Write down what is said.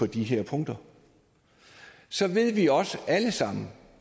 de her punkter så ved vi også alle sammen